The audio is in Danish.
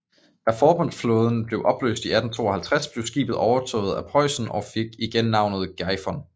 Da forbundsflåden blev opløst i 1852 blev skibet overtaget af Preussen og fik igen navnet Gefion